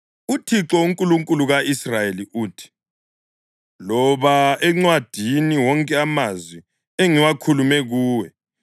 “ UThixo, uNkulunkulu ka-Israyeli uthi, ‘Loba encwadini wonke amazwi engiwakhulume kuwe.